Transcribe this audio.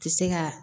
Ti se ka